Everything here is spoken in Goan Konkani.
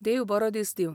देव बरो दीस दिवं.